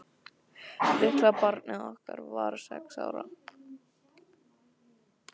Litla barnið okkar var sex ára.